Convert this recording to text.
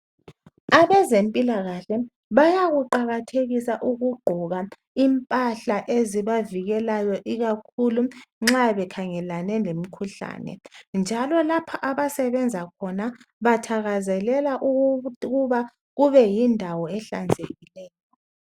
Abezempilakahle bayaku qakathekisa ukugqoka impahla ezibavikelayo ikakhulu nxa bekhangelane lemkhuhlane njalo lapha abasebenza khona bathakazelela ukuba kube yindawo ehlanzekileyo.